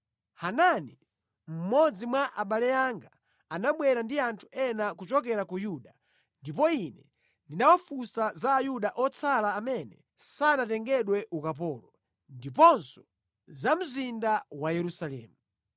Hanani mmodzi mwa abale anga, anabwera ndi anthu ena kuchokera ku Yuda, ndipo ine ndinawafunsa za Ayuda otsala amene sanatengedwe ukapolo, ndiponso za mzinda wa Yerusalemu.